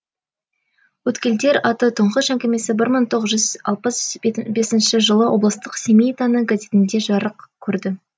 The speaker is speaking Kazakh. өткелдер атты тұңғыш әңгімесі бір мың тоғыз жүз алпыс бесінші жылы облыстық семей таңы газетінде жарық көрді